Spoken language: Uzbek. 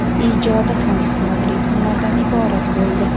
ijodi ham sinovli kunlardan iborat bo‘ldi.